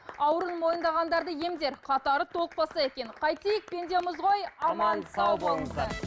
ауруын мойындағандарды емдер қатары толықпаса екен қайтейік пендеміз ғой аман сау болыңыздар